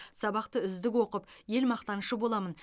сабақты үздік оқып ел мақтанышы боламын